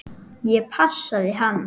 Ég passaði hana.